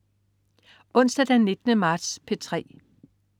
Onsdag den 19. marts - P3: